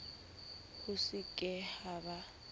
ho se ke ha ba